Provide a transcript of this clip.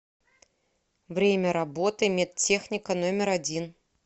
время работы медтехника номер один